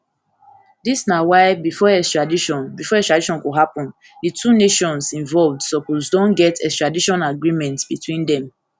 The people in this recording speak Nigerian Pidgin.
dis na why bifor extradition bifor extradition go happun di two nations involved suppose don get extradition agreement between dem